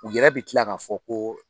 U yɛrɛ bi kila k'a fɔ ko